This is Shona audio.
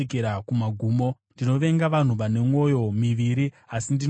Ndinovenga vanhu vane mwoyo miviri, asi ndinoda murayiro wenyu.